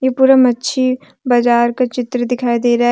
पूरा मच्छी बाजार का चित्र दिखाई दे रहा है।